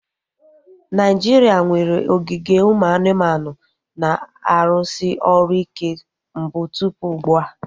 Naijiria nwere ogige ụmụ anụmanụ na-arụsị ọrụ ike mbụ tụpụ ugbua